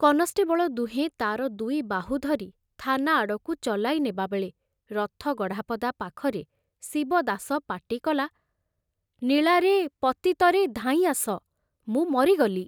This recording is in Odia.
କନଷ୍ଟେବଳ ଦୁହେଁ ତାର ଦୁଇ ବାହୁ ଧରି ଥାନା ଆଡ଼କୁ ଚଲାଇ ନେବାବେଳେ ରଥଗଢ଼ାପଦା ପାଖରେ ଶିବାଦାସ ପାଟିକଲା, ନୀଳାରେ, ପତିତରେ ଧାଇଁ ଆସ, ମୁଁ ମରିଗଲି।